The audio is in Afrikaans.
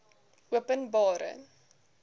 openbare